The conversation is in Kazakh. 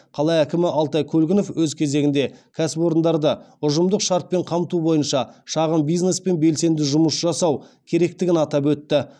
қала әкімі алтай көлгінов өз кезегінде кәсіпорындарда ұжымдық шартпен қамту бойынша шағын бизнеспен белсенді жұмыс жасау керектігін атап өтті